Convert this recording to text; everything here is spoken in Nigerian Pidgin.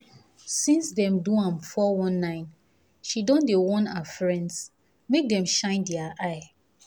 since dem do am 419 she don dey warn her friends make dem shine their eye